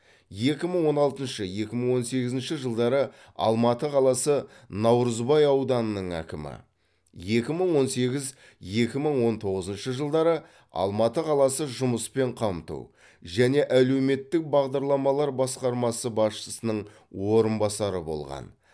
екі мың он алтыншы екі мың он сегізінші жылдары алматы қаласы наурызбай ауданының әкімі екі мың он сегіз екі мың он тоғызыншы жылдары алматы қаласы жұмыспен қамту және әлеуметтік бағдарламалар басқармасы басшысының орынбасары болған